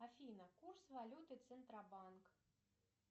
афина курс валюты центробанк